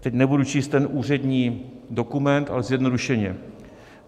Teď nebudu číst ten úřední dokument, ale zjednodušeně.